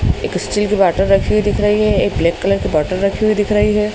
एक स्टील की बॉटल रखी हुई दिख रही है एक ब्लैक कलर की बॉटल रखी हुई दिख रही है।